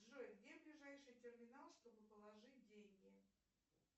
джой где ближайший терминал чтобы положить деньги